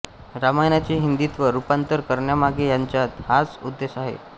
रामायणाचे हिंदीत रूपांतर करण्यामागे त्यांचा हाच उद्देश आहे